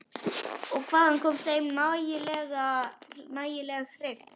Og hvaðan kom þeim nægjanleg heift?